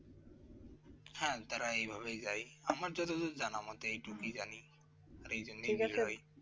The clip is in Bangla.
হ্যাঁ তারা এভাবে যায় আমার যতদূর যায় না মানে এইটুকু জানি